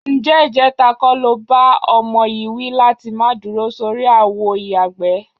Ǹjé̩ ìje̩ta kó̩ lo bá o̩mo̩ yìí wí láti má dúro sórí àwo ìyàgbẹ́?